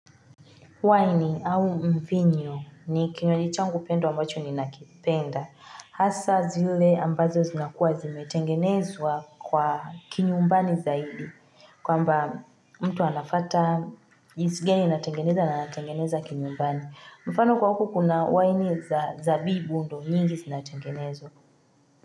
Waini au mvinyo ni kinywaji changu ambacho ninakipenda. Hasaa zile ambazo zinakua zimetengenezwa kwa kinyumbani zaidi. Kwamba mtu anafata jinsi gani anatengeneza na anatengeneza kinyumbani. Mfano kwa huku kuna waini za zabibu ndio mingi zinatengenezwa.